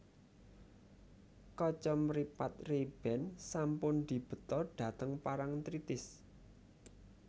Kacamripat Rayban sampun dibeta dhateng Parangtritis